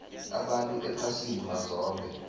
abantu ephasini mazombe